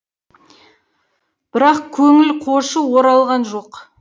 бірақ көңіл қошы оралған жоқ